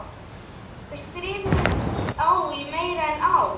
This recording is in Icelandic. Við skrifuðumst á í meira en ár.